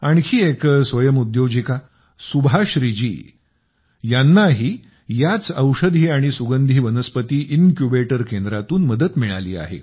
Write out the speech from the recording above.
आणखी एक स्वयंउद्योजिका सुभाश्री जी यानांही याच औषधी आणि सुगंधी वनस्पती इन्क्यूबेटर केंद्रातून मदत मिळाली आहे